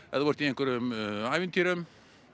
ef þú ert í einhverjum ævintýrum